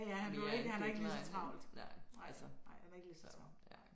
Ja han er jo ikke han har ikke ligeså travlt. Nej nej han har ikke ligeså travlt